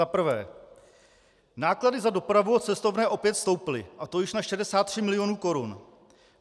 Za prvé: Náklady za dopravu a cestovné opět stouply, a to již na 63 milionů korun.